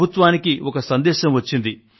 ప్రభుత్వానికి ఒక సందేశం వచ్చింది